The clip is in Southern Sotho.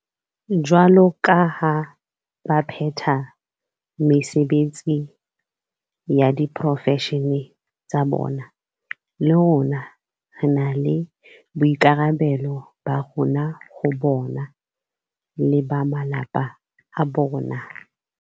Jwaloka ha ba phetha mesebetsi ya diporofeshene tsa bona, le rona re na le boikarabelo ba rona ho bona le ba malapa a bona.